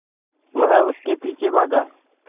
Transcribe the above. वह उसके पीछे भागा